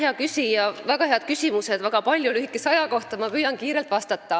Väga palju väga häid küsimusi lühikese aja kohta, ma püüan kiirelt vastata.